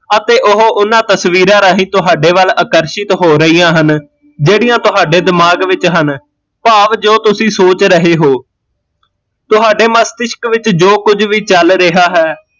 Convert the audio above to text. ਅਤੇ ਓਹ ਓਹਨਾਂ ਤਸਵੀਰਾਂ ਰਾਹੀਂ ਤੁਹਾਡੇ ਵੱਲ ਆਕਰਸ਼ਿਤ ਹੋ ਰਹੀਆ ਹਨ, ਜਿਹੜੀਆ ਤੁਹਾਡੇ ਦਿਮਾਗ ਵਿੱਚ ਹਨ ਭਾਵ ਜੋ ਤੁਸੀਂ ਸੋਚ ਰਹੇ ਹੋ ਤੁਹਾਡੇ ਮਸਤੀਸ਼ਕ ਵਿੱਚ ਜੋ ਕੁਜ ਵੀ ਚੱਲ ਰਿਹਾ ਹੈ